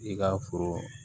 I ka foro